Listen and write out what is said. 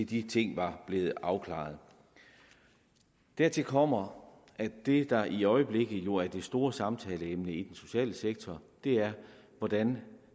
de ting var blevet afklaret dertil kommer at det der i øjeblikket jo er det store samtaleemne i den sociale sektor er hvordan vi